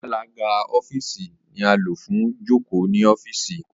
Alaga ọfiisi ni a lo fun joko ni ọfiisi